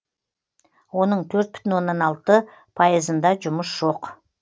оның төрт бүтін оннан алты пайызында жұмыс жоқ